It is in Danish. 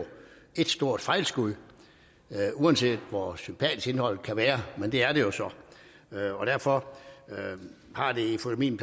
et stort fejlskud uanset hvor sympatisk indholdet kan være og derfor har det efter min